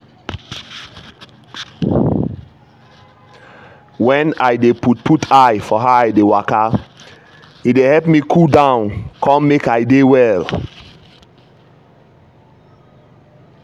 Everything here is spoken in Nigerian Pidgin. when i dey put put eye for how i dey waka e dey help me cool down con make i dey well.